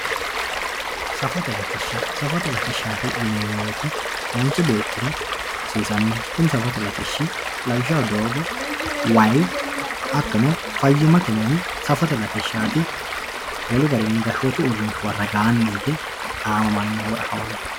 Safote latisha safote latishat yinemowoyite manchi beetira hasiisanoho kuni safote latishi lawishshaho doogo wayi hatono fayimate mini safote latishaat wolu garini gashotu uurinsha ragaani hige aamamanoho woyi afamanoho.